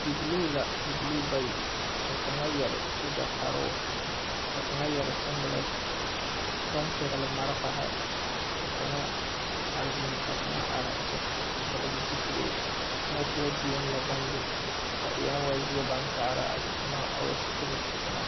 Bibilee la bibilee bayi kaŋa yɛre sogyɛ kparoo ka kaŋa yɛre siŋgelɛŋti baŋ pɛgli malfari kaŋa zeŋ ka kaŋa are kyɛ vɔgli zupiloo muo poɔ la baŋ be a e nyɛ woo zie baŋ kaara a tona a o sikiretitoma.